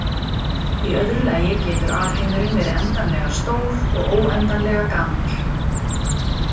Í öðru lagi getur alheimurinn verið endanlega stór og óendanlega gamall.